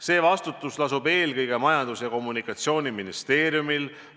See vastutus lasub eelkõige Majandus- ja Kommunikatsiooniministeeriumil.